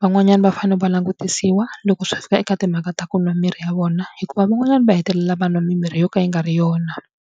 Van'wanyani va fanele va langutisiwa loko swi fika eka timhaka ta ku nwa mirhi ya vona hikuva van'wanyana va hetelela va nwa mimirhi yo ka yi nga ri yona.